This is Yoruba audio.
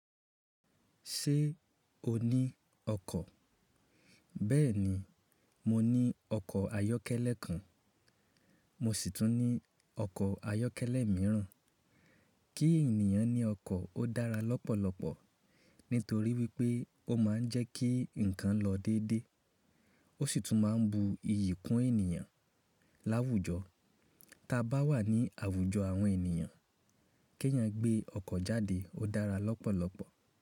Ṣé o ní ọkọ̀? Bẹ́ẹ̀ni, mo ní ọkọ̀ ayọ́kẹ́lẹ́ kan. Mo sì tún ní ọkọ̀ ayọ́kẹ́lẹ́ mìíràn. Kí ènìyàn ní ọkọ̀ ó dára lọ́pọ̀lọpọ̀ nítorí wípé ó máa ń jẹ́ kí ǹnkan lọ déédé. Ó sì tún máa ń bu iyì kún ènìyàn láwùjọ. Tí a bá wà ní àwùjọ àwọn ènìyàn, kí èèyàn gbé ọkọ̀ jáde ó dára lọ́pọ̀lọpọ̀